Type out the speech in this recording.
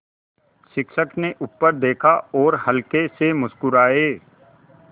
शिक्षक ने ऊपर देखा और हल्के से मुस्कराये